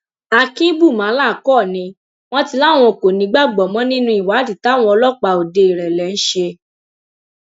akínbùmálà kọ ni wọn ti láwọn kò nígbàgbọ mọ nínú ìwádìí táwọn ọlọpàá ọdẹìrẹlẹ ń ṣe